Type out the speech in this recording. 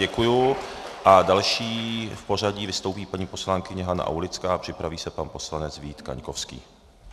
Děkuji a další v pořadí vystoupí paní poslankyně Hana Aulická a připraví se pan poslanec Vít Kaňkovský.